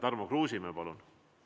Tarmo Kruusimäe, palun!